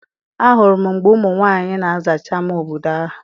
A hụrụ m mgbe ụmụ nwaanyị na-azacha ama obodo ahụ.